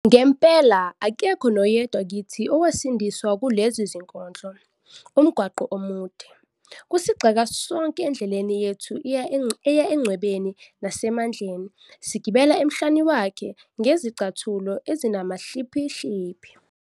"Ngempela, akekho noyedwa kithi owasindiswa kulezi zinkondlo - 'Umgwaqo Omude' kusigxeka sonke endleleni yethu eya engcebweni nasemandleni, sigibela emhlane wakhe ngezicathulo ezinamahliphihliphi.